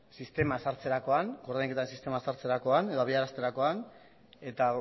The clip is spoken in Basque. sistema ezartzerakoan ordainketa sistema ezartzerakoan edo habiaraztekoan eta